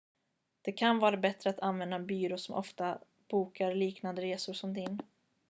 det kan vara bättre att använda en byrå som ofta bokar liknande resor som din